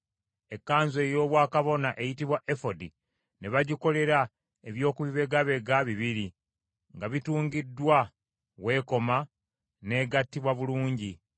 Ekkanzu ey’obwakabona eyitibwa efodi ne bagikolera eby’okubibegabega bibiri nga bitungiddwa w’ekoma, n’egattibwa bulungi.